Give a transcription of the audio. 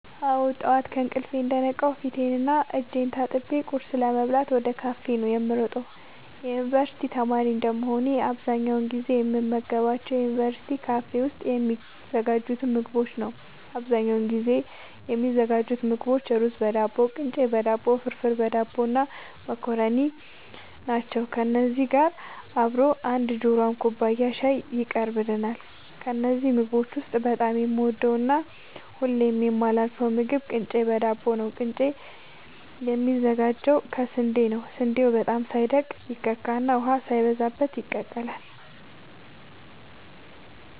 አወ ጠዋት ከእንቅልፌ እንደነቃሁ ፊቴን እና እጄን ታጥቤ ቁርስ ለመብላት ወደ ካፌ ነዉ የምሮጠው የዩንቨርስቲ ተማሪ እንደመሆኔ አብዛኛውን ጊዜ የምመገባቸው ዩንቨርስቲ ካፌ ውስጥ የሚዘጋጁትን ምግቦች ነዉ አብዛኛውን ጊዜ የሚዘጋጁ ምግቦች እሩዝበዳቦ ቅንጨበዳቦ ፍርፍርበዳቦ እና መኮረኒ ናቸው ከነዚህ ጋር አብሮ አንድ ጆሯም ኩባያ ሻይ ይቀርብልናል ከነዚህ ምግቦች ውስጥ በጣም የምወደውና ሁሌም የማላሳልፈው ምግብ ቅንጨ በዳቦ ነዉ ቅንጨ የሚዘጋጀው ከስንዴ ነዉ ስንዴው በጣም ሳይደቅ ይከካና ውሃ ሳይበዛበት ይቀላል